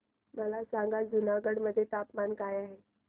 मला सांगा जुनागढ मध्ये तापमान काय आहे